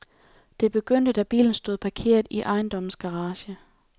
Det begyndte, da bilen stod parkeret i ejendommens garage.